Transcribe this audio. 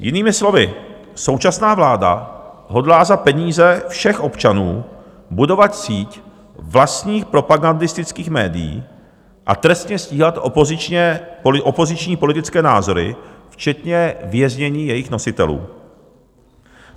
Jinými slovy, současná vláda hodlá za peníze všech občanů budovat síť vlastních propagandistických médií a trestně stíhat opoziční politické názory včetně věznění jejich nositelů.